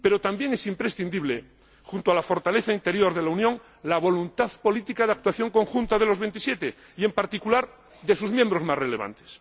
Pero también es imprescindible, junto a la fortaleza interior de la Unión, la voluntad política de actuación conjunta de los 27 y, en particular, de sus miembros más relevantes.